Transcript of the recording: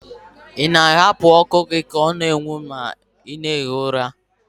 Ị na-ahapụ ọkụ gị ka ọ na-enwu ma ị na-ehi ụra?